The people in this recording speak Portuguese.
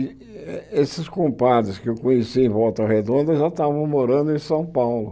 E esses compadres que eu conheci em Volta Redonda já estavam morando em São Paulo.